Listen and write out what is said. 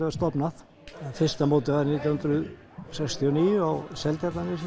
var stofnað fyrsta mótið var nítján hundruð sextíu og níu á Seltjarnarnesi